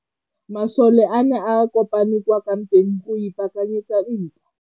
Masole a ne a kopane kwa kampeng go ipaakanyetsa ntwa.